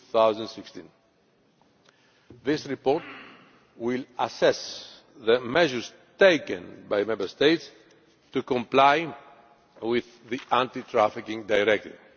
2016. This report will assess the measures taken by Member States to comply with the Anti trafficking Directive.